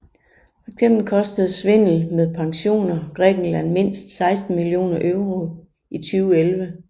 Fx kostede svindel med pensioner Grækenland mindst 16 millioner euro i 2011